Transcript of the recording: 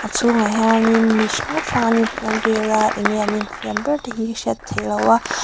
a chhungah hian in mi hrang hrang an in fiam vel a enge an infiam ber te hi a hriat theih loh a.